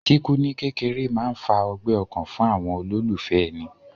Kíkú ní kékeré máa ń fa ọgbẹ́ ọkàn fún àwọn olólùfẹ́ èni